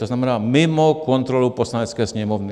To znamená, mimo kontrolu Poslanecké sněmovny.